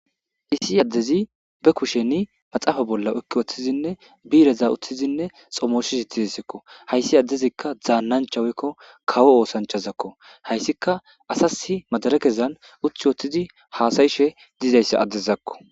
issi addezi be kusheni maxaafa bolla okki woththizinne biireza uththizinne xomoshis itizisekko hayssi addezikka dzaannanchawekko kawo oosanchazakko hayssika asasi madare kezan uthi woththizi haasayishe dizayssa addezakko